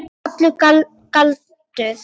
Þetta var þá allur galdur.